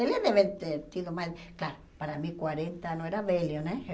Ele deve ter tido mais... Claro, para mim, quarenta não era velho, né?